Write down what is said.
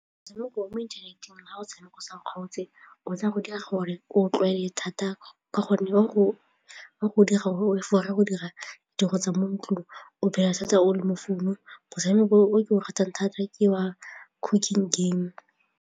Motshameko wa mo inthaneteng ga o tshameka o sa kgaotse o tsa go dira gore o tlwaele thata ka gonne wa go dira tsa mo ntlong o phela o setse o le mo founong, motshameko o ke o ratang thata ke wa cooking game.